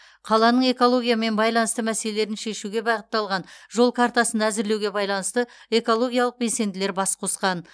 қаланың экологиямен байланысты мәселелерін шешуге бағытталған жол картасын әзірлеуге байланысты экологиялық белсенділер бас қосқан